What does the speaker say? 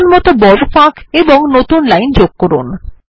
প্রয়োজনমত বড় ফাঁক এবং নতুন লাইন যোগ করুন